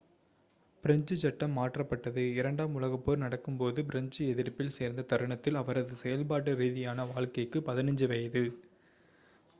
French சட்டம் மாற்றப்பட்டது இரண்டாம் உலகப்போர் நடக்கும்போது பிரெஞ்சு எதிர்ப்பில் சேர்ந்த தருணத்தில் அவரது செயல்பாட்டு ரீதியான வாழ்க்கைக்கு 15 வயது